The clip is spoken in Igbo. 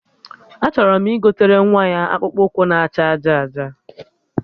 Achọrọ m igotere nwa ya akpụkpụ ụkwụ na acha aja aja